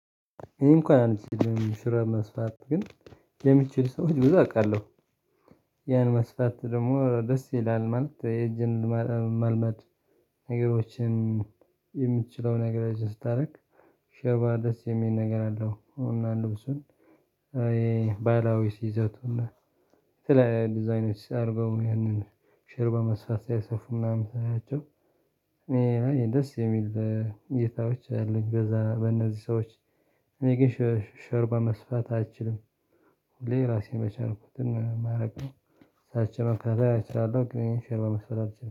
እኔም እንኳን አንችልም ሹራብ መስፋት ግን የሚችል ሰዎች ብዙ አውቃለሁ። ያን መስፋት ደግሞ ደስ ይላል ማለት የእጅን መልመድ። ነገሮችን የምትችለው ነገር ስታደርግ ሸባ ደስ የሚል ነገር አለው። እና ልብሱን ባህላዊ ይዘቱን የተለያዩ ዲዛይኖች አርገው ይህንን ሽር በመስፋት ሲያሰፉ ምናምን ሳያቸው ይሄ ደስ የሚል ጌታዎች አለኝ። በዛ በእነዚህ ሰዎች እኔ ግን ሾርባ መስራት አይችልም። ሁሌ ራሴን የቻልኩትን ማረግ ነው። እሳቸውን መከራ አልችልም ግን ይሄን ሾርባ መስራት አልችልም